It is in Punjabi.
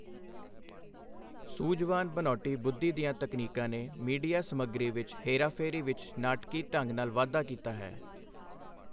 ਸੂਝਵਾਨ ਬਨਾਉਟੀ ਬੁੱਧੀ ਦੀਆਂ ਤਕਨੀਕਾਂ ਨੇ ਮੀਡੀਆ ਸਮੱਗਰੀ ਵਿੱਚ ਹੇਰਾਫੇਰੀ ਵਿੱਚ ਨਾਟਕੀ ਢੰਗ ਨਾਲ ਵਾਧਾ ਕੀਤਾ ਹੈ।